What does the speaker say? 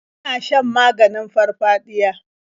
Yana shan maganin farfaɗiya.